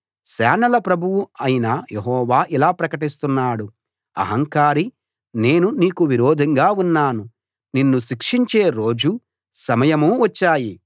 సేనల ప్రభువు అయిన యెహోవా ఇలా ప్రకటిస్తున్నాడు అహంకారీ నేను నీకు విరోధంగా ఉన్నాను నిన్ను శిక్షించే రోజూ సమయమూ వచ్చాయి